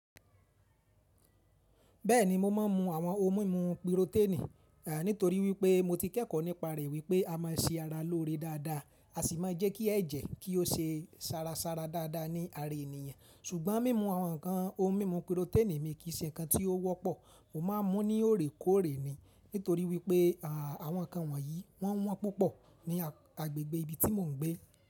Bẹ́ẹ̀ni, mo máa ń mu àwọn ohun mímu piroténì. Nítorí wípé mo ti kẹ́kọ̀ọ́ nípa rẹ̀ wípé a máa ṣe ara lóore dáadáa, a sì máa jẹ́ kí ẹ̀jẹ̀ kí ó ṣe sára sára dáadáa ní ara ènìyàn. Ṣùgbọ́n mímu àwọn nǹkan ohun mímu piroténì mi kì í ṣe nǹkan tí ó wọ́pọ̀. Mo máa ń mú ní òorékóòrè ni. Nítorí wípé àwọn nǹkan wọ̀nyí wọ́n wọ́n púpọ̀ ní agbègbè ibi tí mò ń gbé.